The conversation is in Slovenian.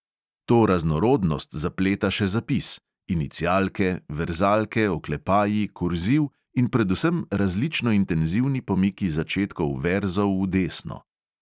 To raznorodnost zapleta še zapis: inicialke, verzalke, oklepaji, kurziv in predvsem različno intenzivni pomiki začetkov verzov v desno.